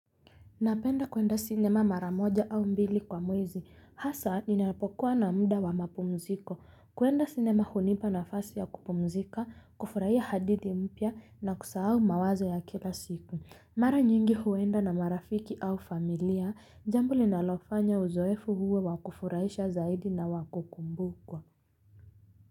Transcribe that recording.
Napenda kuenda sinema mara moja au mbili kwa mwezi. Hasa ninapokuwa na muda wa mapumziko kuenda sinema hunipa nafasi ya kupumzika, kufurahia hadithi mpya na kusahau mawazo ya kila siku. Mara nyingi huenda na marafiki au familia. Jambo linalofanya uzoefu uwe wa kufurahisha zaidi na wa kukumbukwa.